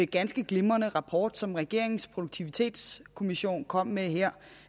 ganske glimrende rapport som regeringens produktivitetskommission kom med her